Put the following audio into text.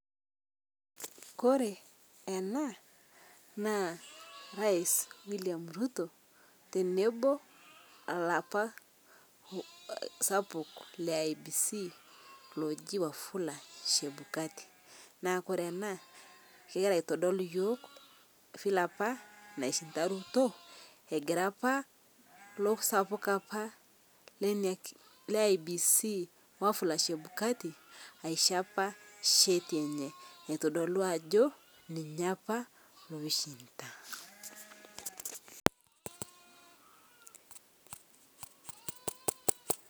Korre enaa naa. Rais William Ruto tenebo olapa sapuk le IEBC loji Wafula Chebukati. Naa ore ena kegira iatodol iyiok file apa nai shida egira apa loo sapuk apa le IBEC aa Wafula Chebukati asho apa sheti enye naitodolu ajo ninye apa.